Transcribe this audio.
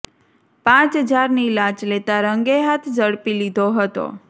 પ હજારની લાંચ લેતા રંગે હાથ ઝડપી લીધો હતો